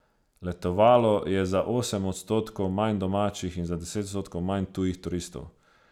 Letovalo je za osem odstotkov manj domačih in za deset odstotkov manj tujih turistov.